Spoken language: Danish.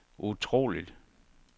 utroligt